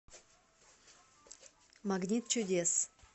магнит чудес